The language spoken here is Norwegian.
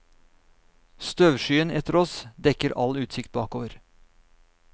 Støvskyen etter oss dekker all utsikt bakover.